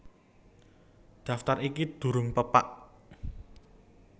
Daftar iki durung pepak